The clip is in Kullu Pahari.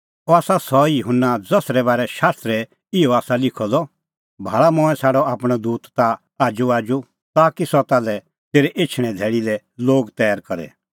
अह आसा सह ई युहन्ना ज़सरै बारै शास्त्रा इहअ आसा लिखअ द भाल़ा मंऐं छ़ाडअ आपणअ दूत ताह आजूआजू ताकि सह ताल्है तेरै एछणें धैल़ी लै लोग तैर करे